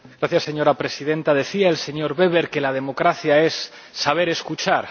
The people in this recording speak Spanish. Señora Presidenta, decía el señor Weber que la democracia es saber escuchar.